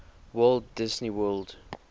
walt disney world